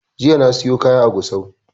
Jiya na siyo kaya a gusau